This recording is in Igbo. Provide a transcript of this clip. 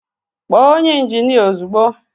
Kpọọ onye injinia ozugbo!